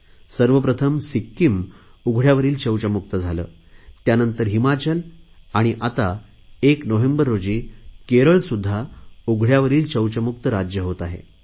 सर्वप्रथम सिक्कीम उघडयावरील शौचमुक्त झाले त्यानंतर हिमाचल आणि आता 1 नोव्हेंबर रोजी केरळसुध्दा उघडयावरील शौचमुक्त राज्य होत आहे